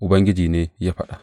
Ubangiji ne ya faɗa.